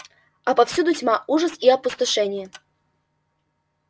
а повсюду тьма ужас и опустошение